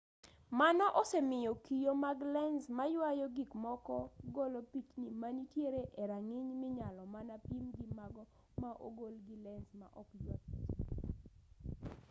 mano osemiyo kio mag lens mayuayo gikmoko golo pichni manitiere e rang'iny minyalo mana pim gi mago ma ogol gi lens ma ok yua pichni